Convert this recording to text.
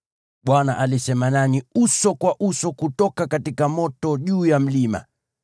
Bwana alisema nanyi uso kwa uso kutoka moto juu ya mlima.